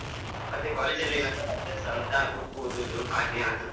ಮತ್ತೆ college ಅಲ್ಲಿ ಏನಾದ್ರು ಹವ್ಯಾಸ ಉಂಟಾ? book ಓದುದು ಹಾಗೇನಾದ್ರೂ.